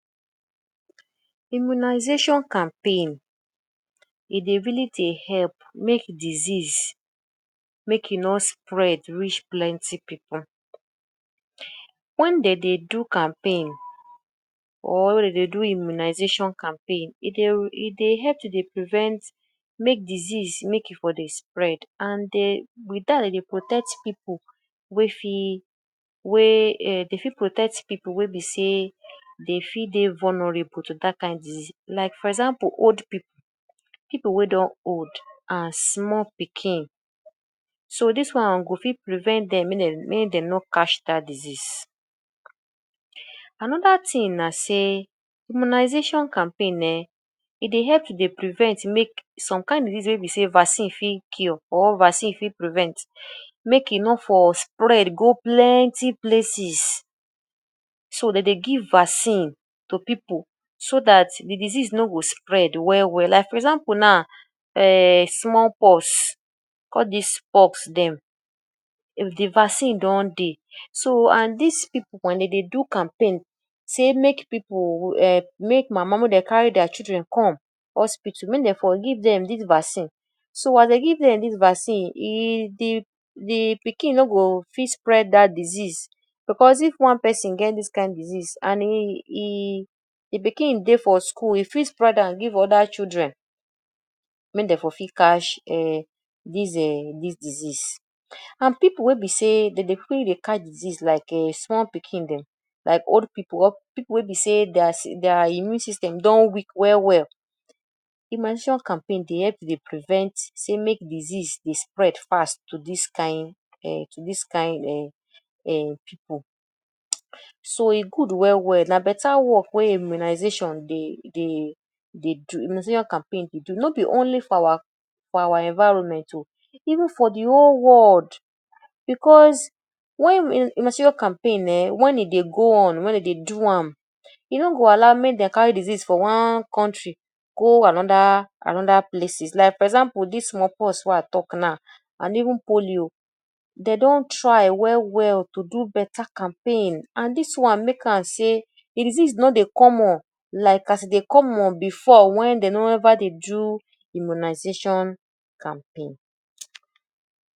Immunization campaign, e dey really dey help make disease make e no spread reach plenty pipu. Wen dey dey do campaign or wen dey dey do immunization campaign e dey e dey help to dey prevent make disease make e for dey spread and um wit dat dey dey protect people wey fit wey um dey fit protect people wey be sey dey fit dey vulnerable to dat kind disease. Like for example old people, people wey don old and small pikin. So dis one go fit prevent dem make dem make dem no catch that disease. Another thing na sey immunization campaign um, e dey help to dey prevent make some kain disease wey be sey vaccine fit cure or vaccine fit prevent make e no for spread go plenty places so dey dey give vaccine to people so dat de disease no go spread well well. Like for example now, um small pox all dis pox dem if de vaccine don dey so and dis pipu wen dem dey do campaign sey make pipu um make mama make dey carry their children come hospital make dem for give them dis vaccine. So as dey give dem dis vaccine, e de de pikin no go fit spread dat disease because if one person get dis kain disease and e de pikin dey for school, e fit spread give other children make dem for fit catch um dis um dis disease. And pipu wey be say dey dey quick dey catch disease like um small pikin dem like old pipu or pipu wey be say their immune system don weak well well, immunization campaign dey help to dey prevent sey make disease dey spread fast to dis kind um to dis kind um piipu. So e good well well na beta work wey immunization dey dey dey do immunization campaign dey do. No be only for our environment oo even for de whole world because wen immunization campaign um wen e dey go on wen e dey do am, e no go allow make dem carry disease from one country go another another places. Like for example dis small pox wey I talk now and even polio dey don try well well to do better campaign and dis one make am sey de disease no dey common like as e dey common before wen dey never dey do immunization campaign.